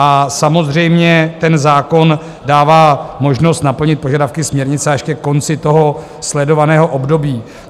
A samozřejmě ten zákon dává možnost naplnit požadavky směrnice až ke konci toho sledovaného období.